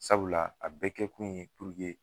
Sabula a bɛkɛ kun ye